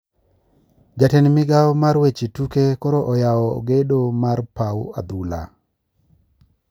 Jatend migao mar weche tuke koro oyao gedo mar pau adhula